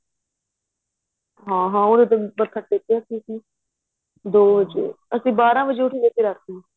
ਹਾਂ ਹਾਂ ਉਹਦੇ ਤੇ ਮੱਥਾ ਟੇਕਿਆ ਸੀ ਜੀ ਦੋ ਵਜ਼ੇ ਅਸੀਂ ਬਾਰਾਂ ਵਜ਼ੇ ਉੱਠ ਗਏ ਸੀ ਰਾਤੀਂ